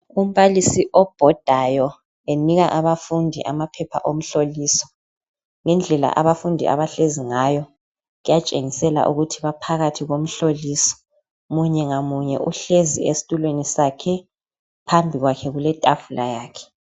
Umbalisi obhodayo enika abafundi amaphepha omhloliso. Ngendlela abafundi abahlezi ngayo kuyatshengisela ukuthi baphakathi komhloliso. Munye ngamunye uhlezi esitulweni sakhe phambili kwakhe kuletafula yakhe.